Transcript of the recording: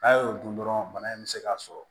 N'a y'o dun dɔrɔn bana in bɛ se k'a sɔrɔ